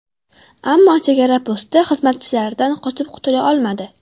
Ammo chegara posti xizmatchilaridan qochib qutula olmadi.